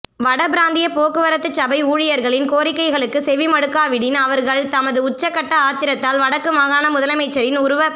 வடபிராந்திய போக்குவரத்துச் சபை ஊழியர்களின் கோரிக்கைகளுக்கு செவிமடுக்காவிடின் அவர்கள் தமது உச்சக்கட்ட ஆத்திரத்தால் வடக்கு மாகாண முதலமைச்சரின் உருவப்